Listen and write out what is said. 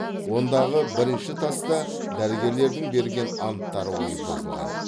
ондағы бірінші таста дәрігерлердің берген анттары ойып жазылған